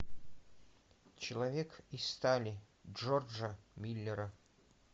человек из стали джорджа миллера